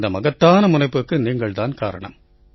இந்த மகத்தான முனைப்புக்கு நீங்கள் தான் காரணம்